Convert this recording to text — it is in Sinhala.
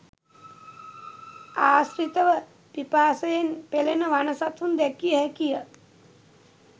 ආශ්‍රිතව පිපාසයෙන් පෙළෙන වන සතුන් දැකිය හැකිය.